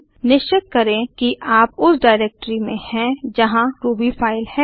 निश्चित करें कि आप उस डाइरेक्टरी में हैं जहाँ रूबी फाइल है